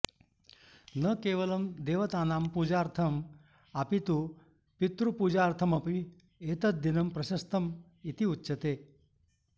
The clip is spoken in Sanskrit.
न केवलं देवतानां पूजार्थम् अपि तु पितृपूजार्थमपि एतद्दिनं प्रशस्तम् इति उच्यते